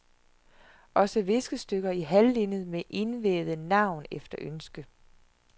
Også viskestykker i halvlinned med indvævet navn efter ønske.